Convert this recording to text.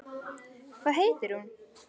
Hvað heitir hún?